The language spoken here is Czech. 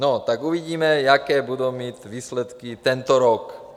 - No tak uvidíme, jaké budou mít výsledky tento rok.